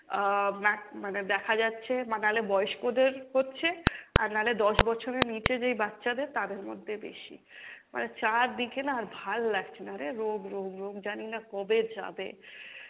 আহ মা~ মানে দেখা যাচ্ছে নালে বয়স্কদের হচ্ছে আর নালে দশ বছরের নিচে যেই বাচ্চাদের তাদের মধ্যে বেশি। মানে চারদিকে না আর ভাল লাগছে না রে রোগ রোগ রোগ জানিনা কবে যাবে,